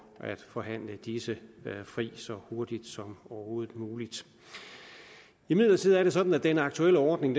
at forhandle disse fri så hurtigt som overhovedet muligt imidlertid er det sådan at den aktuelle ordning